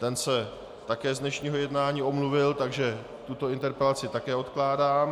Ten se také z dnešního jednání omluvil, takže tuto interpelaci také odkládám.